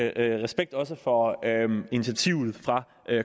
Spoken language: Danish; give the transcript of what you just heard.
al respekt også for initiativet fra